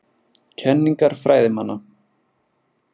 Kenningar fræðimanna.